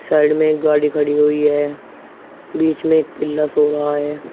Side में एक गाड़ी खड़ी हुई है बीच में एक पिल्ला सो रहा है।